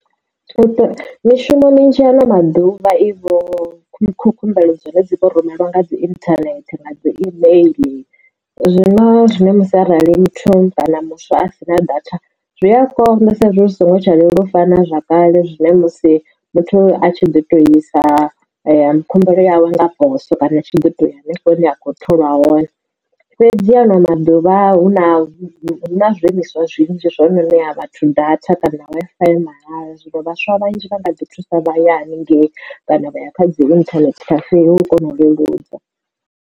Mishumo minzhi ano maḓuvha ivho khumbelo dza hone dzi rumelwa nga dzi internet nga dzi email zwino zwine musi arali muthu kana muswa a si na data zwi a konḓa sa izwi hu songo tsha fana na zwa kale zwine musi muthu a tshi ḓo tou isa khumbelo yawe nga poso kana tshi ḓito ya hanefho a kho tholwa hone fhedzi ano maḓuvha hu na hu na zwishumiswa zwinzhi zwo no ṋea vhathu data kana Wi-Fi ya mahala zwino vhaswa vhanzhi vha nga ḓi thusa vhaya haningei kana vha ya khadzi internet cafe u kona u leludza.